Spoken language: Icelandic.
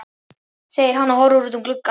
segir hann og horfir út um gluggann.